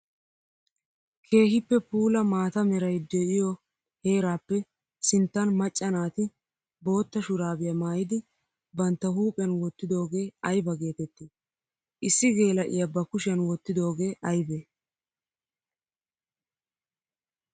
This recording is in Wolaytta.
Keehippe puula maata meray de'iyo heerappe sinttan maca naati bootta shurabbiya maayiddi bantta huuphiyan wottiddoge aybba geetetti? Issi geela'iya ba kushiyan wottidoge aybbe?